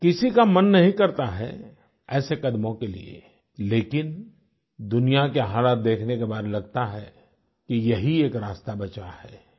किसी का मन नहीं करता है ऐसे कदमों के लिए लेकिन दुनिया के हालात देखने के बाद लगता है कि यही एक रास्ता बचा है